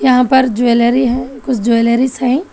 यहां पर ज्वेलरी है कुछ ज्वेलरी सइ--